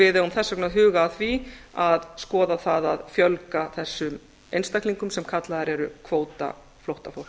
við eigum þess vegna að huga að því að skoða það að fjölga þessum einstaklingum sem kallaðir eru kvótaflóttafólk rauðikrossinn og